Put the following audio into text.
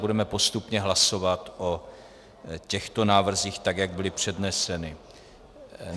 Budeme postupně hlasovat o těchto návrzích, tak jak byly předneseny.